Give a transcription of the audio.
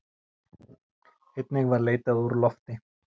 Einnig var leitað úr lofti.